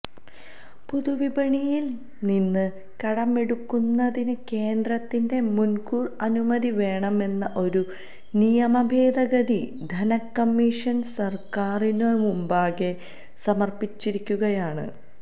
പൊതുവിപണിയില് നിന്ന് കടമെടുക്കുന്നതിന് കേന്ദ്രത്തിന്റെ മുന്കൂര് അനുമതി വേണമെന്ന ഒരു നിയമഭേദഗതി ധനക്കമ്മീഷന് സര്ക്കാരിനുമുമ്പാകെ സമര്പ്പിച്ചിരിക്കുകയാണ്